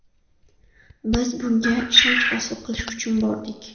Biz bunga ishonch hosil qilish uchun bordik.